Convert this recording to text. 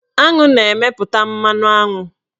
Aṅụ na-emeputa mmanụaṅụ